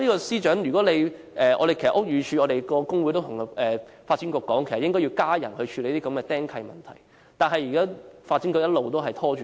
司長，如果你......屋宇署的工會其實曾向發展局要求增加人手處理"釘契"問題，但發展局一直拖延。